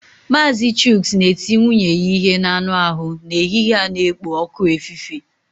Mazị chuks na-eti nwunye ya ihe n'anụ ahụ n'ehihie a na-ekpo ọkụ efife.